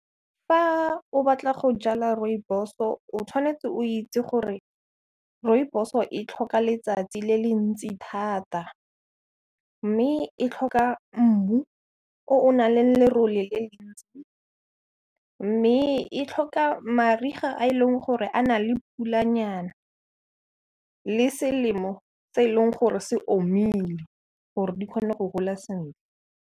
Fa o batla go jala Rooibos-o, tshwanetse o itse gore Rooibos-o e tlhoka letsatsi le le ntsi thata, mme e tlhoka mmu o o nang le lerole le le ntsi, mme e tlhoka mariga a e leng gore a na le pulanyana le selemo tse e leng gore se omile, gore di kgone go gola sentle.